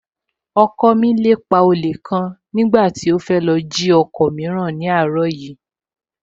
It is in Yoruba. Ọkọ mi lépa olè kan nígbà tí ó fẹ́ lọ jí ọkọ̀ mìíràn ní àárọ̀ yìí